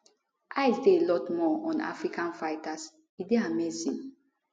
eyes dey a lot more on african fighters e dey amazing